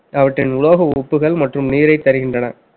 அவற்றின் உலோக உப்புகள் மற்றும் நீரைத் தருகின்றன